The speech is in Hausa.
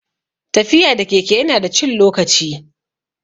Tafiya da keke ya na da cin lokaci